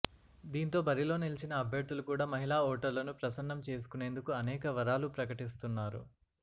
దీంతో బరిలో నిలిచిన అభ్యర్థులు కూడా మహిళా ఓటర్లను ప్రసన్నం చేసుకునేందుకు అనేక వరాలు ప్రకటిస్తున్నారు